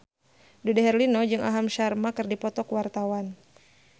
Dude Herlino jeung Aham Sharma keur dipoto ku wartawan